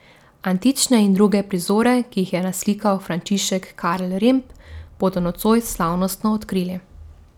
Antične in druge prizore, ki jih je naslikal Frančišek Karl Remb, bodo nocoj slavnostno odkrili.